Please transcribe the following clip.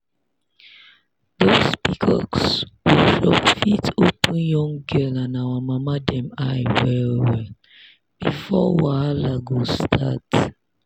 those pcos workshop fit open young girl and our mama dem eye well well before wahala go start.